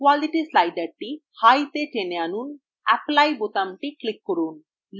quality slider high তে টেনে আনুন এবং apply বোতামটি click করুন